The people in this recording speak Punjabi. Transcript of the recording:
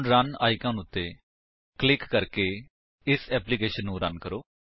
ਹੁਣ ਰਨ ਆਇਕਨ ਉੱਤੇ ਕਲਿਕ ਕਰਕੇ ਇਸ ਏਪਲਿਕੇਸ਼ਨ ਨੂੰ ਰਨ ਕਰੋ